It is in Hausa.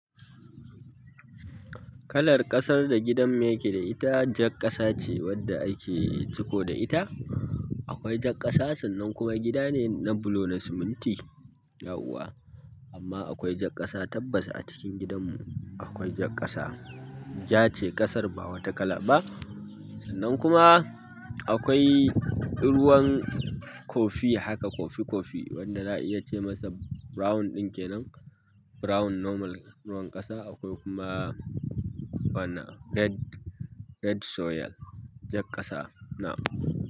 Kalar ƙasar da gidanmu ya ke da ita, jar ƙasa ce wanda ake ciko da ita. Akwai jar ƙasa, sannan kuma gida ne na bulo na siminti, yauwa. Amma akwai jak ƙasa, tabbas a cikin gidan mu akwai jak ƙasa. Ja ce ƙasar, ba wata kala ba. Sannan kuma akwai ruwan kofi haka, kofi-kofi wanda za a iya ce masa brown ɗin kenan, brown normal ruwan ƙasa. Akwai kuma wannan red, red soil, jar ƙasa na.